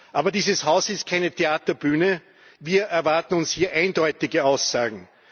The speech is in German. Aber dieses Haus ist keine Theaterbühne, wir erwarten hier eindeutige Aussagen.